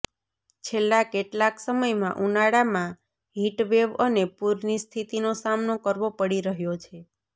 છેલ્લાં કેટલાંક સમયમાં ઊનાળામાં હિટવેવ અને પૂરની સ્થિતિનો સામનો કરવો પડી રહ્યો છે